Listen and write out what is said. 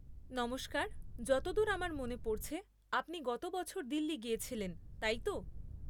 নমস্কার, যতদূর আমার মনে পড়ছে আপনি গত বছর দিল্লি গিয়েছিলেন, তাই তো?